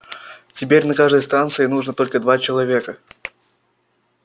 теперь на каждой станции нужны только два человека